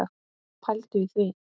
Pældu í því!